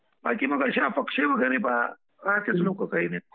बाकी मग काही असे अपक्ष वगैरे आहेत काही लोक.